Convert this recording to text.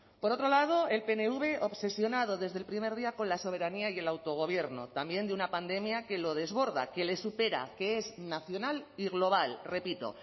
por otro lado el pnv obsesionado desde el primer día con la soberanía y el autogobierno también de una pandemia que lo desborda que le supera que es nacional y global repito